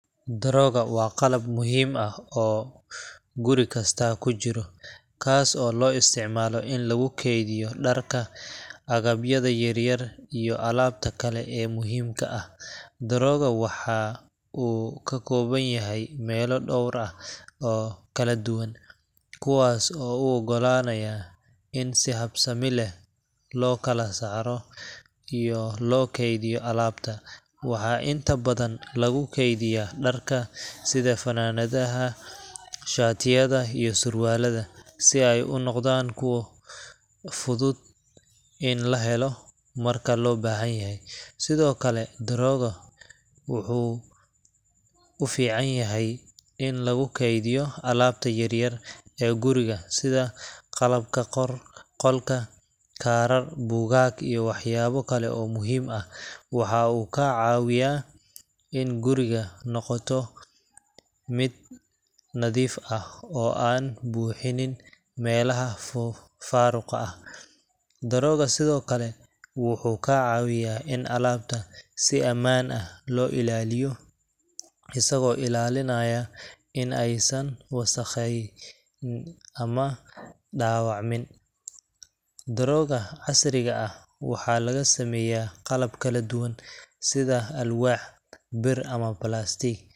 Drawer waa qalab muhiim ah oo guri kasta ku jira, kaas oo loo isticmaalo in lagu kaydiyo dharka, agabyada yaryar, iyo alaabta kale ee muhiimka ah. drawer waxa uu ka kooban yahay meelo dhowr ah oo kala duwan, kuwaas oo u oggolaanaya in si habsami leh loo kala saaro iyo loo kaydiyo alaabta. Waxaa inta badan lagu kaydiyaa dharka sida funaanadaha, shaatiyada, iyo surwaalka, si ay u noqdaan kuwo fudud in la helo marka loo baahdo. Sidoo kale, drawer wuxuu u fiican yahay in lagu kaydiyo alaabta yaryar ee guriga sida qalabka qolka, kaarar, buugaag, iyo waxyaabo kale oo muhiim ah. Waxa uu ka caawiyaa inay guriga noqoto mid nadiif ah oo aan buuxinaynin meelaha faaruqa ah. drawer sidoo kale wuxuu ka caawiyaa in alaabta si ammaan ah loo ilaaliyo, isagoo ilaalinaya in aysan wasakhayn ama dhaawacmin. drawer casriga ah waxaa laga sameeyaa qalab kala duwan sida alwaax, bir, ama plastiig,